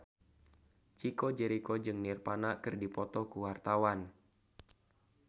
Chico Jericho jeung Nirvana keur dipoto ku wartawan